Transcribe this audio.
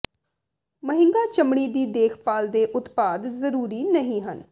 ਮਹਿੰਗਾ ਚਮੜੀ ਦੀ ਦੇਖਭਾਲ ਦੇ ਉਤਪਾਦ ਜ਼ਰੂਰੀ ਨਹੀਂ ਹਨ